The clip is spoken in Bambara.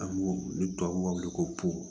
An b'o ni tubabuw b'a wele ko